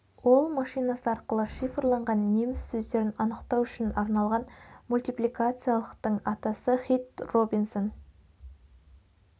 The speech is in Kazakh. ол машинасы арқылы шифрланған неміс сөздерін анықтау үшін арналған мультипликациялықтың атасы хит робинсон